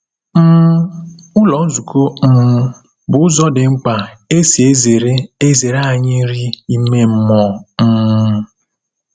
um Ụlọ nzukọ um bụ ụzọ dị mkpa e si ezere ezere anyị nri ime mmụọ. um